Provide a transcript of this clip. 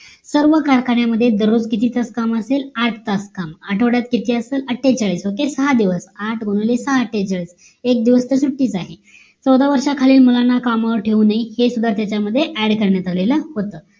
सर्व कारखान्यामध्ये दररोज किती तास काम असेल आठ तास काम आठवड्यात किती असेल अट्ठेचाळीस. OKAY सहा दिवस आठ गुणिले सहा अट्ठेचाळीस. एक दिवस तर सुट्टीच आहे. चौदा वर्षा खालील मुलांना कामावर ठेवू नाही हे सुद्धा त्याच्या मध्ये add करण्यात आलेल होत